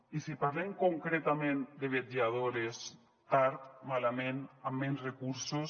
i si parlem concretament de vetlladores tard malament amb menys recursos